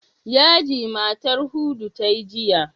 Yaji matar Hudu ta yi jiya.